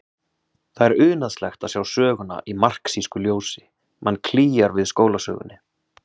Það er unaðslegt að sjá söguna í marxísku ljósi, mann klígjar við skólasögunni.